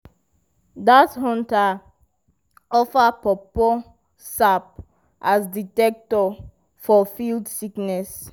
dat hunter offer pawpaw sap as detector for field sickness.